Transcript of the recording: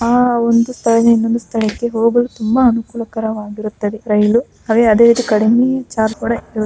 ಆ ಒಂದು ಸ್ಥಳದಿಂದ ಇನ್ನೊಂದು ಸ್ಥಳಕ್ಕೆ ಹೋಗಲು ತುಂಬಾ ಅನುಕೂಲಕರವಾಗಿರುತ್ತದೆ ರೈಲು ಹಾಗೆ ಅದೇ ರೀತಿ ಕಡಿಮೆ ಚಾರ್ಜ್ ಕೂಡ ಇರುತ್ತೆ.